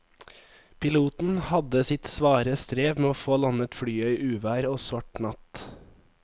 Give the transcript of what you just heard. Piloten hadde sitt svare strev med å få landet flyet i uvær og svart natt.